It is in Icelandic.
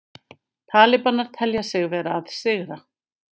Talibanar telja sig vera að sigra